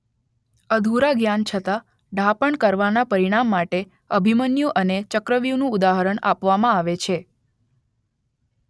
અધુરા જ્ઞાન છતાં ડહાપણ કરવાના પરિણામ માટે અભિમન્યુ અને ચક્રવ્યૂહનું ઉદાહરણ આપવામાં આવે છે